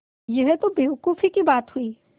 यह तो बेवकूफ़ी की बात हुई